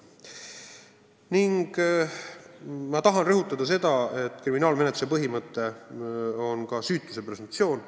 Samas ma tahan rõhutada seda, et üks kriminaalmenetluse põhimõte on süütuse presumptsioon.